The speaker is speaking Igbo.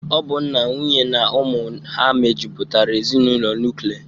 Ọ bụ nna, nwunye na ụmụ ha mejụpụtara ezinụlọ nukle.